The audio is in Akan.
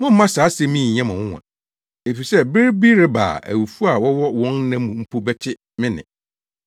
“Mommma saa asɛm yi nnyɛ mo nwonwa, efisɛ bere bi reba a awufo a wɔwɔ wɔn nna mu mpo bɛte me nne,